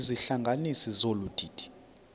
izihlanganisi zolu didi